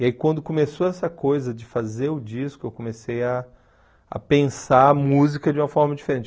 E aí quando começou essa coisa de fazer o disco, eu comecei ah a pensar a música de uma forma diferente.